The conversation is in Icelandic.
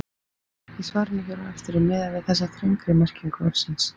Í svarinu hér á eftir er miðað við þessa þrengri merkingu orðsins.